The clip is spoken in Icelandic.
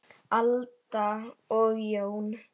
Alda og Jón.